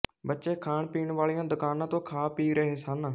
ਬਚੇ ਖਾਣ ਪੀਣ ਵਾਲੀਆਂ ਦੁਕਾਨਾਂ ਤੋਂ ਖਾ ਪੀ ਰਹੇ ਸਨ